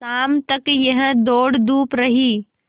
शाम तक यह दौड़धूप रही